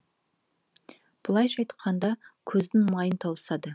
былайша айтқанда көздің майын тауысады